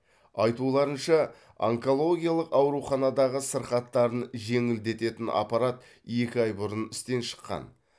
айтуларынша онкологиялық ауруханадағы сырқаттарын жеңілдететін аппарат екі ай бұрын істен шыққан